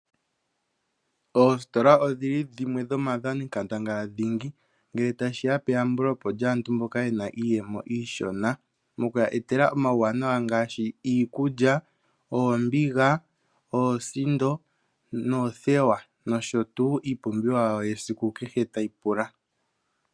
Oositola odhili dhimwe dhomaadhani nkandangaladhingi ngele tashi ya peyambulepo lyaantu mboka ye na iiyemo iishona mokuya etela omauwanawa ngaashi iikulya, oombiga, oosindo noothewa nosho tuu iipumbiwa ya kehesiku tayi pula.